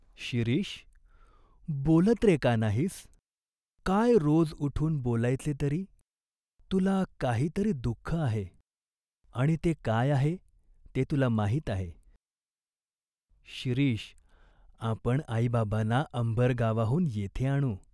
"शिरीष, बोलत रे का नाहीस ?" "काय रोज उठून बोलायचे तरी ?" "तुला काही तरी दुख आहे." "आणि ते काय आहे, ते तुला माहीत आहे." "शिरीष, आपण आईबाबांना अंबरगावाहून येथे आणू.